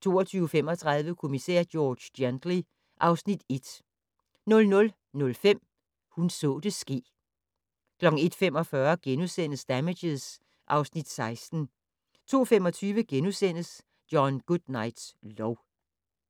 22:35: Kommissær George Gently (Afs. 1) 00:05: Hun så det ske 01:45: Damages (Afs. 16)* 02:25: John Goodnights lov *